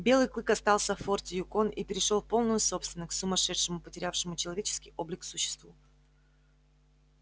белый клык остался в форте юкон и перешёл в полную собственность к сумасшедшему потерявшему человеческий облик существу